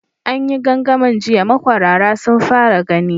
An yi gangamin jiya, makwarara sun fara gani.